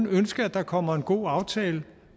ønske der kommer en god aftale